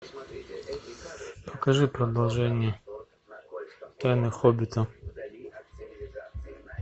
покажи продолжение тайны хоббита